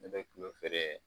Ne bɛ tulo feere